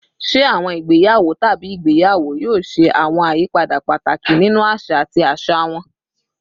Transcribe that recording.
Ṣe awọn igbeyawo tabi igbeyawo yoo ṣe awọn ayipada pataki ninu aṣa ati aṣa wọn?